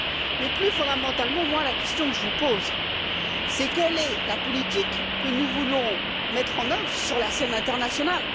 mais, plus fondamentalement, les questions que je vous pose sont quelle est la politique que nous voulons mettre en œuvre sur la scène internationale?